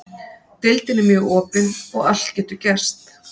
Deildin er mjög opin og allt getur gerst.